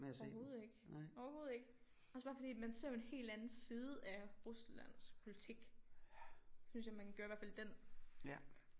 Overhovedet ikke overhovedet ikke også bare fordi man ser jo en helt anden side af Ruslands politik synes jeg man gjorde i hvert fald i den